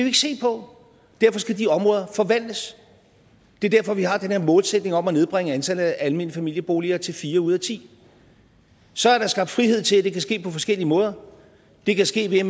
ikke se på derfor skal de områder forvandles det er derfor vi har den her målsætning om at nedbringe antallet af almene familieboliger til fire ud af ti så er der skabt frihed til at det kan ske på forskellige måder det kan ske ved